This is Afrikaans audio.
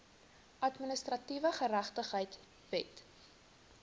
administratiewe geregtigheid wet